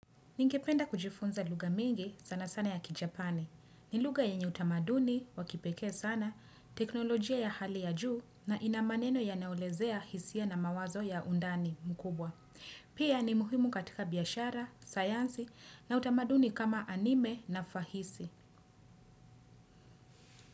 Ningependa kujifunza lugha mingi sana sana ya kijapani. Ni luga yenye utamaduni wakipeke sana, teknolojia ya hali ya juu na ina maneno yanayoelezea hisia na mawazo ya undani mkubwa. Pia ni muhimu katika biashara, sayansi na utamaduni kama anime na fahisi.